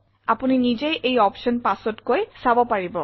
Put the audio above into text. আপুনি নিজেই এই অপশ্যন পাছতকৈ চাব পাৰিব